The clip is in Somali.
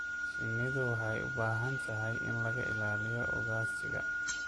Shinnidu waxay u baahan tahay in laga ilaaliyo ugaadhsiga.